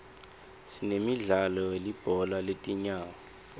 sinemdlalo welibhola letinyawo